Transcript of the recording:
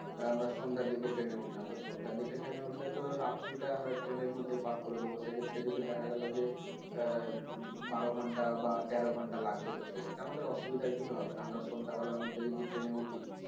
আমরা সন্ধ্যার দিকে Train এ উঠলাম তো সন্ধ্যার দিকে Train উঠলে তো রাত্রিটা আমরা train এর মধ্যেই পার করে দেব সে ক্ষেত্রে দেখা গেল যে এর বারো ঘণ্টা বা তেরো ঘন্টা লাগছে তো সে ক্ষেত্রে আমাদের অসুবিধার কিছু হবে না আমরা সন্ধ্যাবেলার মধ্যে দিকে যদি Train এ উঠি